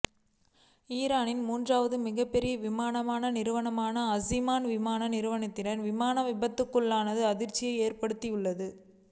ஈரானின் மூன்றாவது மிகப் பெரிய விமான நிறுவனமான ஆசிமான் விமான நிறுவனத்தின் விமானம் விபத்துக்குள்ளானது அதிர்ச்சியை ஏற்படுத்தியுள்ளது